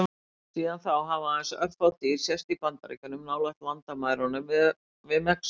Síðan þá hafa aðeins örfá dýr sést í Bandaríkjunum, nálægt landamærunum við Mexíkó.